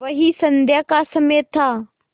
वही संध्या का समय था